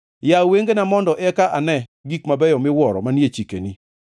Yaw wengena mondo eka ane gik mabeyo miwuoro manie chikeni.